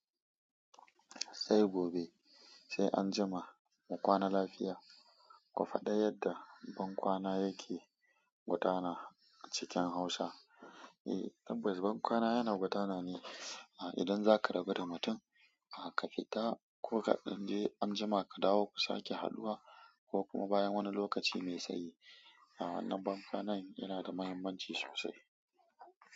Sai gobe sai anjima mu kwana lafiya. Ku faɗa yadda bankwana yake gudana na cikin Hausa. Eh tabbas bankwana yana gudana ne. Idan zaka rabu da mutum, ka fita ko kaɗan, je anjima ka dawo ku sake haduwa ko kuma bayan wani lokaci mai tsayi. Wannan bankwana yana da muhimmanci sosai.